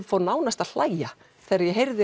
fór nánast að hlæja þegar ég heyrði